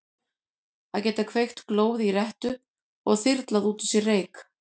Að geta kveikt glóð í rettu og þyrlað út úr sér reyk.